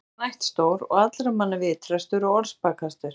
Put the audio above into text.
Ekki var hann ættstór og allra manna vitrastur og orðspakastur.